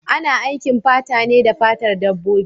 Ana aiki fata ne da fatar dabbobi.